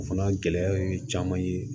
O fana gɛlɛya ye caman ye